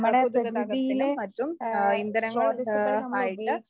ആഹ് പൊതു ഗതാഗതത്തിനും മറ്റും ആഹ് ഇന്ധനങ്ങൾ ആഹ് ആയിട്ട്